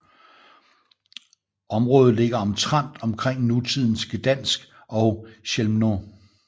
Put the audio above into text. Området ligger omtrent omkring nutidens Gdańsk og Chełmno